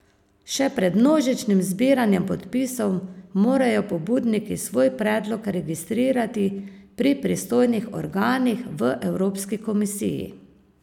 Še pred množičnim zbiranjem podpisov morajo pobudniki svoj predlog registrirati pri pristojnih organih v evropski komisiji.